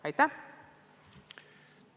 Aitäh!